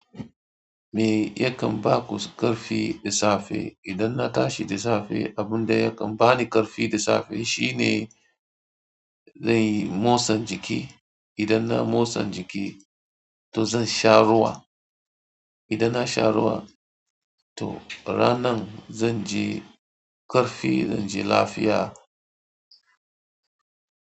Me yakan ba ku ƙarfi da safe? Idan na tashi da safe, abun da yakan bani ƙarfi da safe shine zan motsa jiki. Idan na motsa jiki, to zan sha ruwa. Idan na sha ruwa, to ranan zan ji ƙarfi, zan ji lafiya.